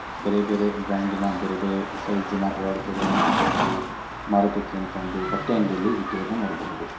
ಬೇರೆ ಬೇರೆ ಬ್ರಾಂಡಿನ ಬೇರೆ ಬೇರೆ ಸೈಜಿನ ಒಳ ಉಡುಪುಗಳನ್ನ ಇಲ್ಲಿ ಮಾರೋದಿಕ್ಕೆ ಅಂತ ಒಂದು ಬಟ್ಟೆ ಅಂಗಡಿಯಲ್ಲಿ ಇಟ್ಟಿರುವುದನ್ನ ನೋಡಬಹುದು.